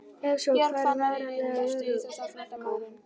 Ef svo, hver er varanleg örorka?